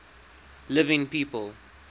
living people